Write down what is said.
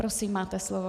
Prosím, máte slovo.